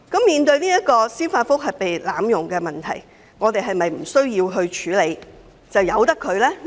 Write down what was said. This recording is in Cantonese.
面對司法覆核制度被濫用的問題，是否無需處理，可任由其發生？